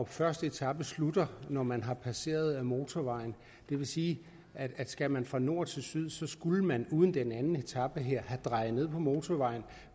første etape slutter når man har passeret motorvejen det vil sige at skal man fra nord til syd skulle man uden den anden etape her have drejet ned på motorvejen